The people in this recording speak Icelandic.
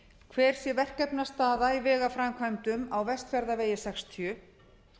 hver sé verkefnastaða í vegaframkvæmdum á vestfjarðavegi sextíu